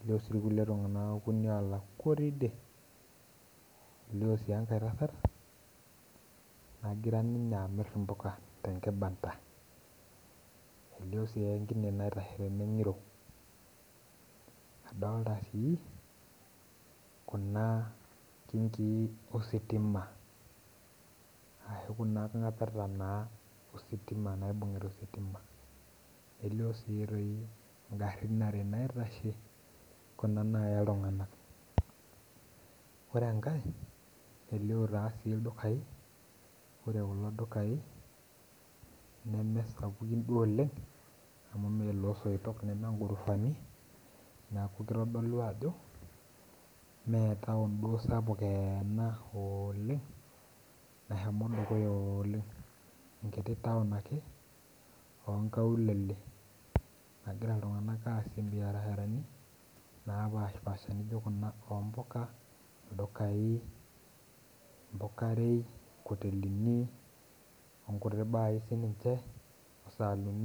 Elio si irkulie tung'anak okuni olakwa otii idie. Elio si enkae tasat, nagira ninye amir impuka tenkibanda. Elio si enkine naitashe tene ng'iro, adolta kuna kinkii ositima. Ashu kuna ng'apeta naa ositima naibung'ita ositima. Nelio si toi igarrin are naitashe, kuna naya iltung'anak. Ore enkae, elio tasii ildukai, ore kulo dukai nemesapukin duo oleng, amu melosoitok neme gurufani, neeku kitodolu ajo, metaon duo sapuk eena ooleng nashomo dukuya oleng. Enkiti taon ake, onkaulele nagira iltung'anak aasie biasharani, napashipasha nijo kuna ompuka, ildukai, mpukarei, nkotelini, onkuti baai sininche, osaanini